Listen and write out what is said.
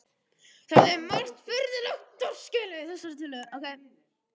Það er margt mjög furðulegt og torskilið í þessari tillögu.